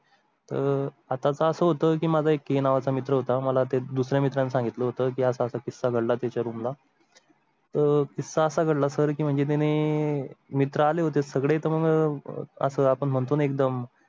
अं आता असं होतं की माझा एक K नावाचा मित्र होता मला ते दुसर् या मित्रा नं सांगितलं होतं की असं असं किस्सा घाडला त्याच्या रूम ला. अह किस्सा असा घडला सर म्हणजे तुम्ही मित्र आले होते सगळे तर मग असं आपण म्हणतो एकदम.